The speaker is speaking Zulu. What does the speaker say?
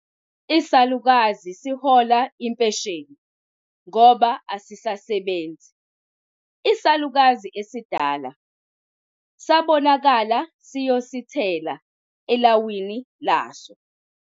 Isalukazi sihola impesheni ngoba asisasebenzi. isalukazi esidala sabonakala siyosithela elawini laso